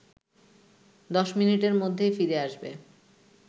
১০ মিনিটের মধ্যেই ফিরে আসবে